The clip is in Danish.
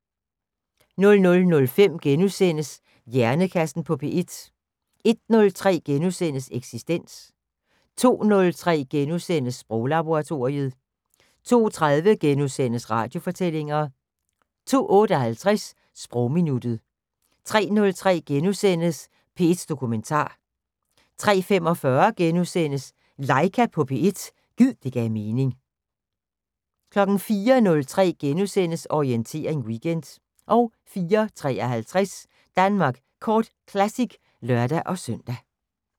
00:05: Hjernekassen på P1 * 01:03: Eksistens * 02:03: Sproglaboratoriet * 02:30: Radiofortællinger * 02:58: Sprogminuttet 03:03: P1 Dokumentar * 03:45: LAIKA på P1 – gid det gav mening * 04:03: Orientering Weekend * 04:53: Danmark Kort Classic (lør-søn)